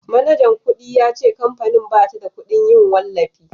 manajan kudi ya ce kamfanin ba ta da kudin yin wallafi